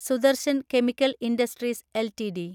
Sudarshan chemical industries LTD